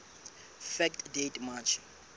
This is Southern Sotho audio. fact date march